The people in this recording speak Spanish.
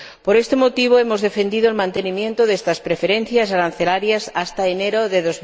Por este motivo hemos defendido el mantenimiento de estas preferencias arancelarias hasta enero de